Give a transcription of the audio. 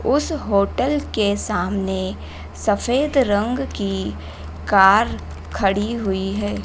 उस होटल के सामने सफेद रंग की कार खड़ी हुई है।